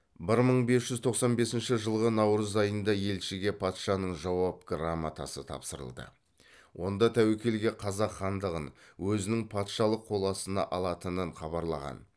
бір мың бес жүз тоқсан бесінші жылғы наурыз айында елшіге патшаның жауап грамотасы тапсырылды онда тәуекелге қазақ хандығын өзінің патшалық қол астына алатынын хабарлаған